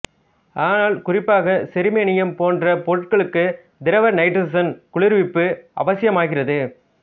ஆனால் குறிப்பாக செருமேனியம் போன்ற பொருட்களுக்கு திரவ நைட்ரசன் குளிர்விப்பு அவசியமாகிறது